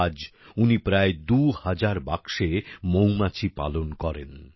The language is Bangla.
আজ উনি প্রায় দুহাজার বাক্সে মৌমাছি পালন করেন